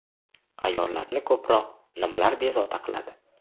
Ayollarni ko‘proq nimalar bezovta qiladi ?